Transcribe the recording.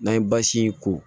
N'an ye basi in ko